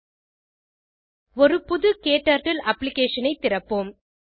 httpspoken tutorialorg ஒரு புது க்டர்ட்டில் அப்ளிகேஷன் ஐ திறப்போம்